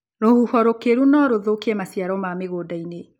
Rũhuho rũkĩru norũthũkie maciaro ma mĩgũndainĩ.